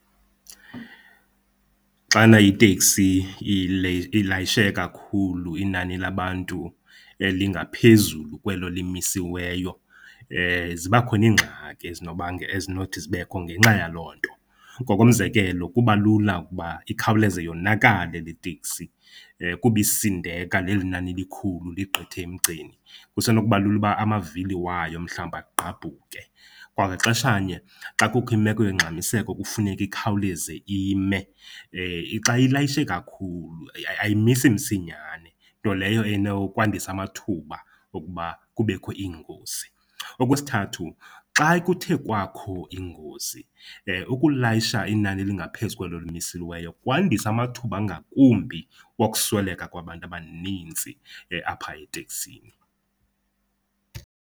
Xana iteksi ilayishe kakhulu, inani labantu lingaphezulu kwelo limisiweyo ziba khona iingxaki ezinothi zibekho ngenxa yaloo nto. Ngokomzekelo, kuba lula ukuba ikhawuleze yonakale le teksi, kuba isindeka leli nani likhulu ligqithe emgceni. Kusenokuba lula uba amavili wayo mhlawumbi agqabhuke. Kwangaxesha nye, xa kukho imeko yongxamiseko kufuneke ikhawuleze ime, xa ilayishe kakhulu ayimisi msinyane, nto leyo enokwandisa amathuba okuba kubekho iingozi. Okwesithathu, xa kuthe kwakho ingozi, ukulayisha inani elingaphezu kwelo limisiweyo kwandisa amathuba angakumbi wokusweleka kwabantu abanintsi apha eteksini.